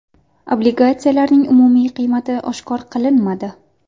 Obligatsiyalarning umumiy qiymati oshkor qilinmadi.